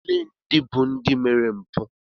Ole ndị bụ ndị mere mpụ?